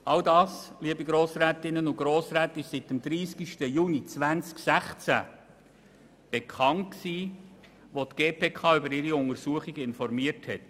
All dies, liebe Grossrätinnen und Grossräte, war seit dem 30. Juni 2016 bekannt, als die GPK über ihre Untersuchung informierte.